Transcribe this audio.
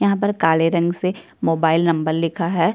यहाँ पर काले रंग से मोबाइल नंबर लिखा है।